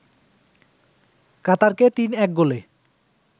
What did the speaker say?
কাতারকে ৩-১ গোলে